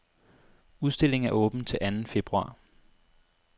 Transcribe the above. Udstillingen er åben til anden februar.